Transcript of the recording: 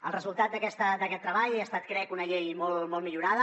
el resultat d’aquest treball ha estat crec una llei molt millorada